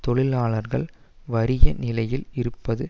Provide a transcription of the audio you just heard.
தொழிலாளர்கள் வறிய நிலையில் இருப்பது